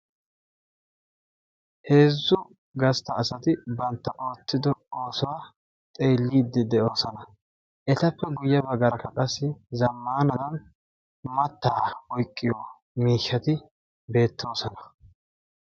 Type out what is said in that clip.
Heezzu gastta asatti oottiddo xeellosonna. Etta matan qassi zamaana mattaa oyqqiyo miishshatti beetosonna.